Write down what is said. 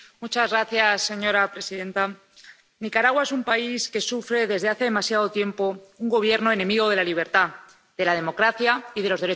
Señora presidenta, Nicaragua es un país que sufre desde hace demasiado tiempo un Gobierno enemigo de la libertad, de la democracia y de los derechos humanos.